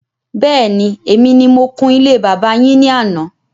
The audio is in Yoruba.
Bẹ́ẹ̀ni, èmi ni mo kun ilé bàbá yín ní àná